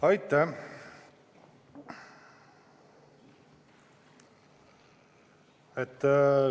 Aitäh!